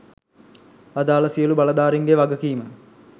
අදාළ සියලු බලධාරීන්ගේ වගකීම